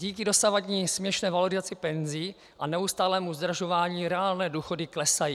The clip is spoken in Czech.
Díky dosavadní směšné valorizaci penzí a neustálému zdražování reálné důchody klesají.